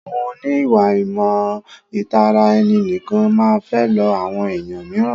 Àwọn oní ìwà ìmọ̀ tara ẹni nìkan máa ń fẹ́ lọ àwọn ẹ̀yàn míràn.